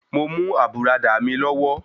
Mo mú àbùradà mi lọ́wọ́.